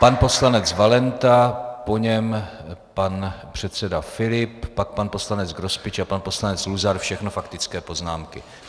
Pan poslanec Valenta, po něm pan předseda Filip, pak pan poslanec Grospič a pan poslanec Luzar - všechno faktické poznámky.